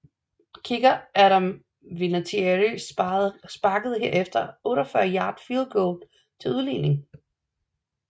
Kicker Adam Vinatieri sparkede herefter et 48 yard field goal til udligning